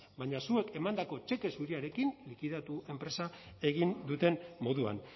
baina zuek emandako txeke zuriarekin likidatu enpresa egin duten moduan